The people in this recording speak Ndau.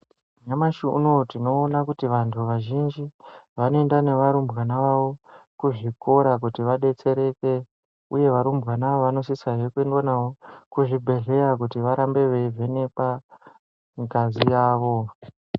Nyamashi unou tinoona kuti vantu vazhinji vanoenda nevarumbwana vavo kuzvikora kuti vadetsereke uye varumbwana ava vanosisa zve kuendwa navo kuzvibhedhlera kuti varambe veivhenekwa ngazi yavo.